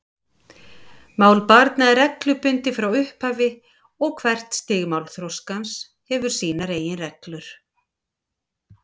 Mál barna er reglubundið frá upphafi og hvert stig málþroskans hefur sínar eigin reglur.